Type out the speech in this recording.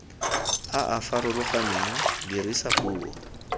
a a farologaneng dirisa puo